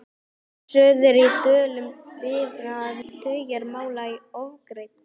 Suður í Dölum bíða tugir mála óafgreidd.